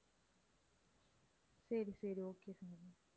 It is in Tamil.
சரி சரி okay சங்கவி